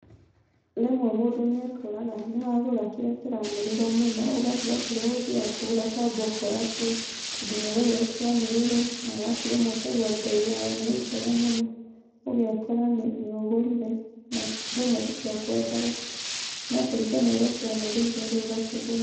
Rĩmwe mũndũ nĩekoraga akĩgũra kĩrĩa kĩranĩrĩrwo mũno. ũgatiga kĩrĩa ũgũthiaga kũgũra ũkamba ũkoya kĩu. Tondũ nĩũraigua gĩkĩanĩrĩrwo. Alafu ũkaigua mbei ya kĩo nĩ njega mũno. ũgeekora nĩũgũrire na rĩmwe ti kĩo ũkwendaga.No kũringana na ũrĩa kĩanĩrĩirwo ũgakĩgũra.